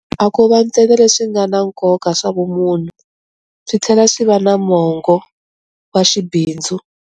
A ko va ntsena leswi nga na nkoka swa vumunhu, swi tlhela swi va na mongo wa xibindzu.